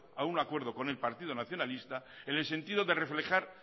a un acuerdo con el partido nacionalista en el sentido de reflejar